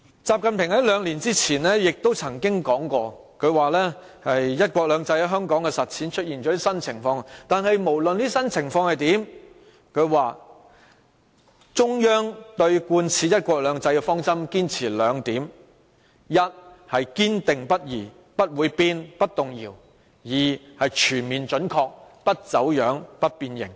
習近平在兩年前曾說過，"一國兩制"在香港的實踐出現了新情況，但無論出現甚麼新情況，中央對貫徹"一國兩制"的方針仍會堅持兩點，一是堅定不移，不會變、不動搖，二是全面準確，不走樣、不變形。